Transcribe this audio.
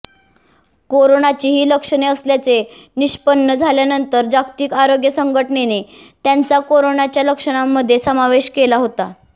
कोरोनाची ही लक्षणे असल्याचे निष्पन्न झाल्यानंतर जागतिक आरोग्य संघटनेने त्यांचा कोरोनाच्या लक्षणांमध्ये समावेश केला होता